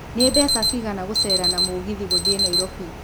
nĩmbeca cĩgana gũcera na mũgĩthĩ gũthiĩ nairobi